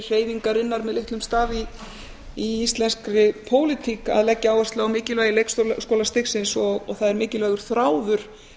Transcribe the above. hreyfingarinnar með litlum starf í íslenskri pólitík að leggja áherslu á mikilvægi leikskólastigsins og það er mikilvægur þráður